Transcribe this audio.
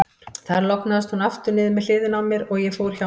Þar lognaðist hún aftur niður með hliðinni á mér, og ég fór hjá mér.